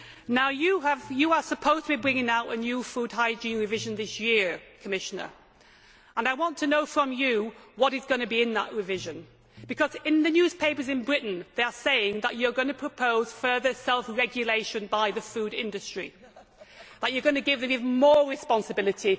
Now, you are supposed to be bringing out a new food hygiene revision this year, Commissioner, and I want to know from you what is going to be in that revision, because in the newspapers in Britain they are saying that you are going to propose further self regulation by the food industry, that you are going to give them even more responsibility.